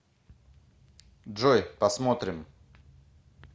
джой посмотрим